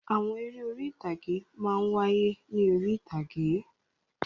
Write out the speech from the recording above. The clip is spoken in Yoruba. Àwọn eré orí-ìtàgé máa ń wáyé ní orí-ìtàgé.